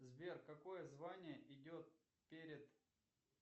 сбер какое звание идет перед